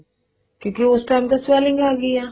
ਕਿਉਂਕਿ ਉਸ time ਤਾਂ swelling ਆਗੀ ਆ